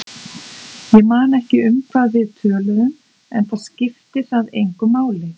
Ég man ekki um hvað við töluðum, enda skipti það engu máli.